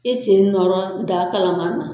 E sen nɔrɔ daa kalaman na.